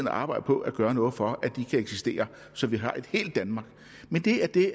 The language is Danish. arbejde på at gøre noget for kan eksistere så vi har et helt danmark men det er det